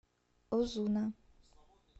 озуна